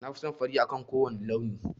Na fi son fari akan kowane launi.